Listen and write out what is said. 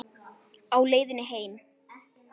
Á leiðinni heim?